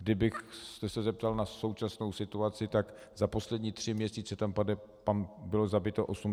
Kdybyste se zeptal na současnou situaci, tak za poslední tři měsíce tam bylo zabito 88 osob.